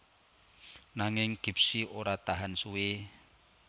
Nanging Gipsy ora tahan suwé